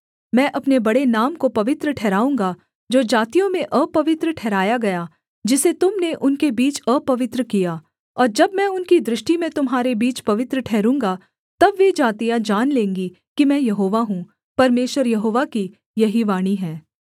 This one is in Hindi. मैं अपने बड़े नाम को पवित्र ठहराऊँगा जो जातियों में अपवित्र ठहराया गया जिसे तुम ने उनके बीच अपवित्र किया और जब मैं उनकी दृष्टि में तुम्हारे बीच पवित्र ठहरूँगा तब वे जातियाँ जान लेंगी कि मैं यहोवा हूँ परमेश्वर यहोवा की यही वाणी है